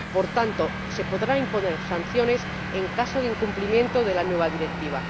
Por tanto, se podrán imponer sanciones en caso de incumplimiento de la nueva Directiva.